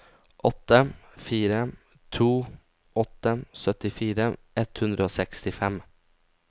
åtte fire to åtte syttifire ett hundre og sekstifem